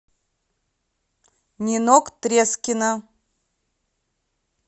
нинок трескина